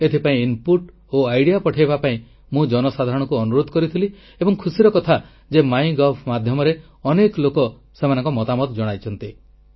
ଏଥିପାଇଁ ନିଜ ନିଜର ଅଭିମତ ଓ ପ୍ରସ୍ତାବ ପଠାଇବା ପାଇଁ ମୁଁ ଜନସାଧାରଣଙ୍କୁ ଅନୁରୋଧ କରିଥିଲି ଏବଂ ଖୁସିର କଥା ଯେ ମାଇଗଭ୍ ମାଧ୍ୟମରେ ଅନେକ ଲୋକ ସେମାନଙ୍କ ମତାମତ ଜଣାଇଛନ୍ତି